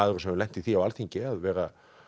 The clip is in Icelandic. hefur lent í því á Alþingi að vera